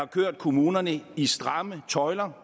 kørt kommunerne i stramme tøjler